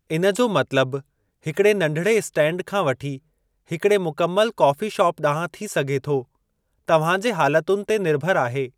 इन जो मतिलबु हिकिड़े नंढिड़े इस्टैंड खां वठी हिकड़े मुकमल कॉफ़ी शाप ॾांहुं थी सघे थो, तव्हां जे हालतुनि ते निर्भरु आहे।